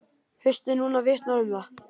Haustið núna vitnar um það.